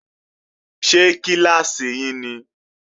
Ṣé kíláàsì yí ni?